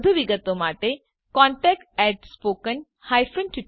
વધુ વિગત માટે કૃપા કરી અમને contactspoken tutorialorg પર સંપર્ક કરો